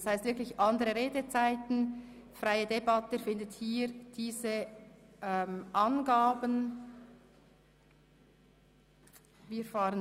Das heisst, wir werden bei der Haushaltdebatte andere Redezeiten haben.